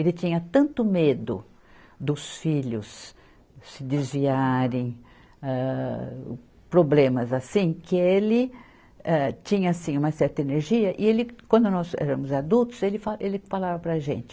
Ele tinha tanto medo dos filhos se desviarem, âh, problemas assim, que ele âh, tinha, sim, uma certa energia e ele, quando nós éramos adultos, ele fa, ele falava para a gente,